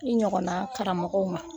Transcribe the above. I ɲɔgɔn na karamɔgɔw ma